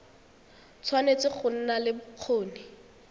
tshwanetse go nna le bokgoni